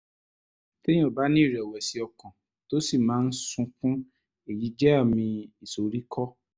téèyàn bá ní ìrẹ̀wẹ̀sì ọkàn tó sì máa ń sunkún èyí jẹ́ àmì ìsoríkọ́